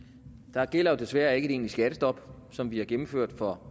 der gælder jo desværre ikke et egentligt skattestop som vi har gennemført for